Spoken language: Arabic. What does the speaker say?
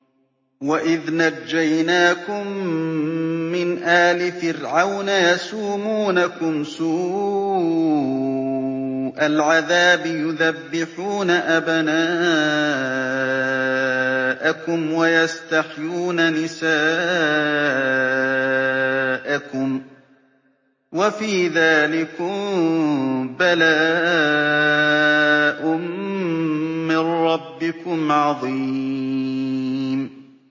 وَإِذْ نَجَّيْنَاكُم مِّنْ آلِ فِرْعَوْنَ يَسُومُونَكُمْ سُوءَ الْعَذَابِ يُذَبِّحُونَ أَبْنَاءَكُمْ وَيَسْتَحْيُونَ نِسَاءَكُمْ ۚ وَفِي ذَٰلِكُم بَلَاءٌ مِّن رَّبِّكُمْ عَظِيمٌ